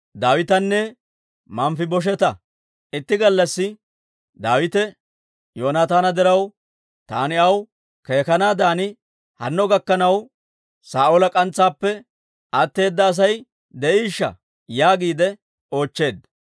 Itti gallassi Daawite, «Yoonataana diraw, taani aw keekanaadan hanno gakkanaw Saa'oola k'antsaappe atteeda Asay de'iishsha?» yaagiide oochcheedda.